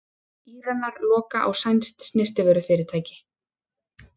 Íranar loka á sænskt snyrtivörufyrirtæki